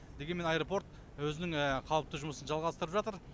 дегенмен аэропорт өзінің қалыпты жұмысын жалғастырып жатыр